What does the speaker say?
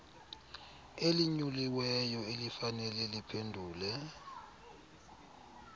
elinyuliweyo elifanele liphendule